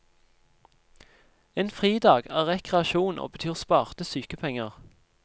En fridag er rekreasjon og betyr sparte sykepenger.